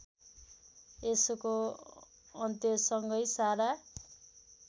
यसको अन्त्यसँगै सारा